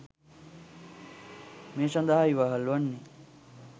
මේ සඳහා ඉවහල් වන්නේ